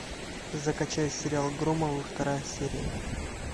закачай сериал громовы вторая серия